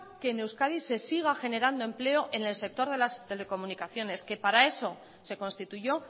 que en euskadi se siga generando empleo en el sector de las telecomunicaciones que para eso se constituyó